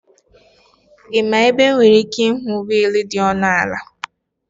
Ị ma ebe m nwere ike ịhụ wiil dị ọnụ ala